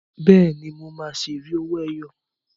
Bẹ́ẹ̀ni, mo máa ṣi rí owó ẹyọ.